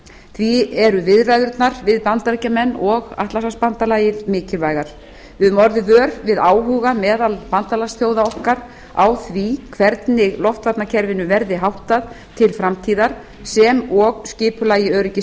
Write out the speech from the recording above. því eru viðræðurnar við bandaríkin og atlantshafsbandalagið mikilvægar við höfum orðið vör við áhuga meðal bandalagsþjóða okkar á því hvernig loftvarnakerfinu verði háttað til framtíðar sem og skipulagi